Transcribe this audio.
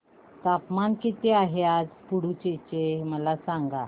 तापमान किती आहे पुडुचेरी चे मला सांगा